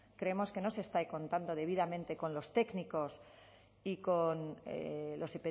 creemos que no se está contando debidamente con los técnicos y con los